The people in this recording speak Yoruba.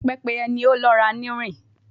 Pepeye ni o lọra ni nrin